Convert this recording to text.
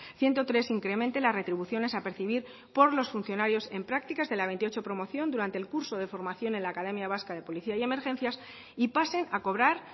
ciento tres incremente las retribuciones a percibir por los funcionarios en prácticas de la veintiocho promoción durante el curso de formación en la academia vasca de policía y emergencias y pasen a cobrar